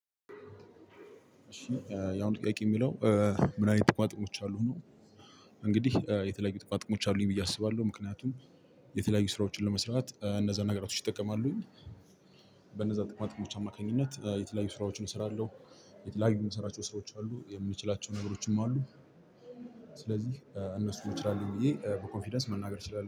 እሺ ያሁኑ ጥያቄ የሚለው ምን አይነት ጥቋጥቆች አሉ ነው? እንግዲህ የተለያዩ ጥቅማጥቅሞች አሉኝ ብዬ አስባለሁ ምክንያቱም የተለያዩ ስራዎችን ለመስራት እነዛን ነገሮች እጠቀማለሁ። በነዛ ጥቅማ ጥቅሞች አማካኝነት የተለያዩ ስራዎችን እሰራለሁ። የተለያዩ የምሰራቸው ስራዎች አሉ የምችላቸው ነገሮችም አሉ። ስለዚህ እነሱን እችላለሁ ብየ በኮንፊደንስ መናገር እችላለሁ